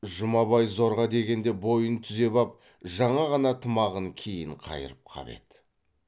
жұмабай зорға дегенде бойын түзеп ап жаңа ғана тымағын кейін қайырып қап еді